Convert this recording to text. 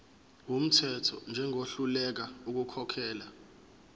wumthetho njengohluleka ukukhokhela